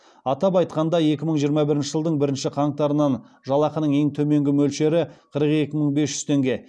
атап айтқанда екі мың жиырма бірінші жылдың бірінші қаңтарынан жалақының ең төменгі мөлшері қырық екі мың бес жүз теңге